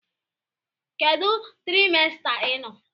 Kedu trimester ị nọ?